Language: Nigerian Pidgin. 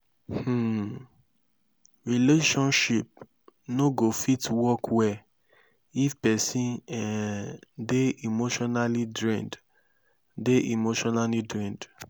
um relationship no go fit work well if pesin um dey emotionally drained dey emotionally drained